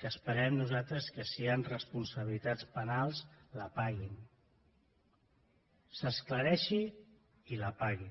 que esperem nosaltres que si hi han responsabilitats penals la paguin s’aclareixi i la paguin